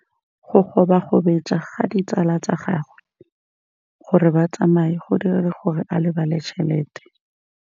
Go gobagobetsa ga ditsala tsa gagwe, gore ba tsamaye go dirile gore a lebale tšhelete.